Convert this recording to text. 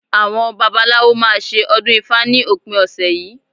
Àwọn babaláwo máa ṣe ọdún ifá ní òpin ọ̀sẹ̀ yìí